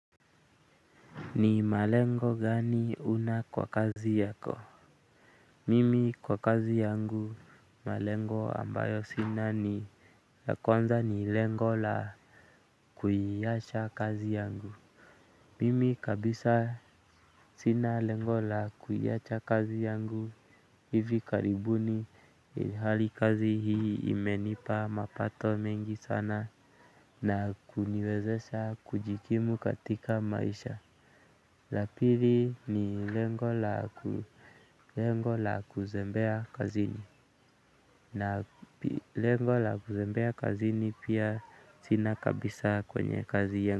Ni malengo gani huna kwa kazi yako mimi kwa kazi yangu malengo ambayo sina ni la kwanza ni lengo la kuiacha kazi yangu, mimi kabisa sina lengo la kuiacha kazi yangu hivi karibuni ilhali kazi hii imenipa mapato mengi sana na kuniwezesha kujikimu katika maisha. La pili ni lengo la kuzembea kazini. Na lengo la kuzembea kazini pia sina kabisa kwenye kazi.